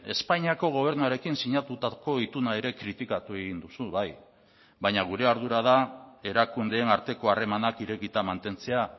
espainiako gobernuarekin sinatutako ituna ere kritikatu egin duzu bai baina gure ardura da erakundeen arteko harremanak irekita mantentzea